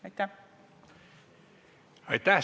Aitäh!